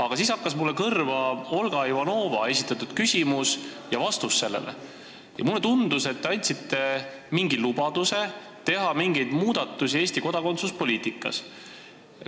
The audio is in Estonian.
Aga siis hakkas mulle kõrva Olga Ivanova esitatud küsimus ja vastus sellele ning mulle tundus, et te andsite mingi lubaduse teha mingeid muudatusi Eesti kodakondsuspoliitikas.